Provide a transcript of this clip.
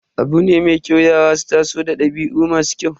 Abu ne mai kyau yara su taso da dabi'u masu kyau.